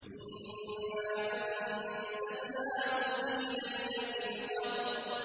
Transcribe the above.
إِنَّا أَنزَلْنَاهُ فِي لَيْلَةِ الْقَدْرِ